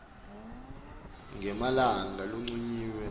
ngemalanga lancunyiwe nobe